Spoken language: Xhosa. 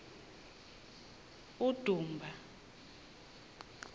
udumba